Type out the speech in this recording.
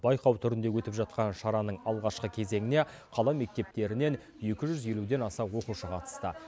байқау түрінде өтіп жатқан шараның алғашқы кезеңіне қала мектептерінен екі жүз елуден аса оқушы қатысты